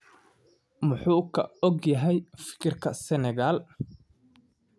“Maxuu ka ogyahay fikirka Senegal?